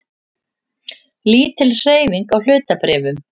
Lítil hreyfing á hlutabréfum